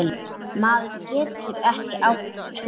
Maður getur ekki átt tvö